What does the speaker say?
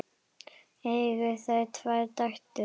Eiga þau tvær dætur.